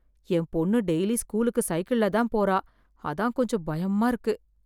என் பொண்ணு டெய்லி ஸ்கூலுக்கு சைக்கிள் தான் போறா அதான் கொஞ்சம் பயமா இருக்கு